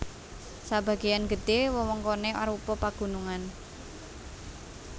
Sabagéyan gedhé wewengkoné arupa pagunungan